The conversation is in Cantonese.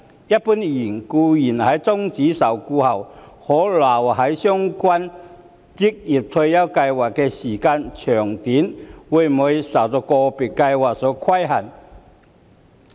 一般而言，僱員在終止受僱後可留在相關職業退休計劃的時間長短會受個別計劃所規限。